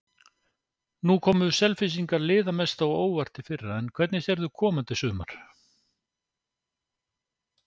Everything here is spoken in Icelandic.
Nú komu Selfyssingar liða mest á óvart í fyrra, en hvernig sérðu komandi sumar?